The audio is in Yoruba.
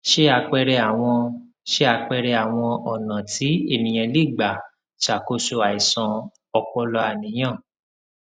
se apere awọn se apere awọn ọnà tí eniyan lè gbà ṣàkóso àìsàn ọpọlọàníyàn